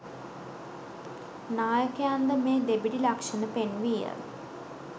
නායකයන්ද මේ දෙබිඩි ලක්‍ෂණ පෙන්විය